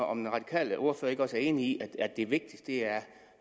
om den radikale ordfører ikke også er enig i at det vigtigste er